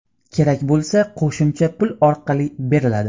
Kerak bo‘lsa, qo‘shimcha pul orqali beriladi.